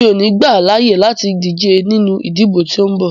Mi o ní gbà à láàyè láti díje nínú ìdìbò tí o ń bọ̀!